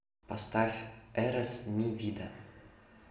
поставь эрес ми вида